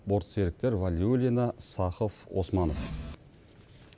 борт серіктері валиулина сахов османов